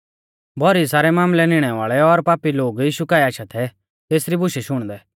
भौरी सारै मामलै निणै वाल़ै और पापी लोग यीशु काऐ आशा थै तेसरी बुशै शुणदै